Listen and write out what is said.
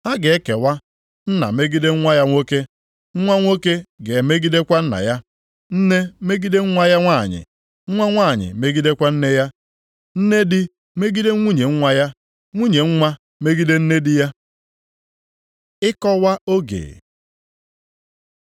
Ha ga-ekewa; nna megide nwa ya nwoke, nwa nwoke ga-emegidekwa nna ya, nne megide nwa ya nwanyị, nwa nwanyị megidekwa nne ya, nne di megide nwunye nwa ya, nwunye nwa megide nne di ya.” Ịkọwa oge